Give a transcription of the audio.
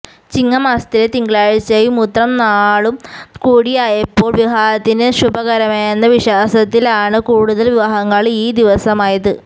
ചിങ്ങ മാസത്തിലെ തിങ്കളാഴ്ചയും ഉത്രം നാളും കൂടിയായപ്പോള് വിവാഹത്തിന് ശുഭകരമെന്ന വിശ്വാസത്തിലാണ് കൂടുതല് വിവാഹങ്ങള് ഈ ദിവസമായത്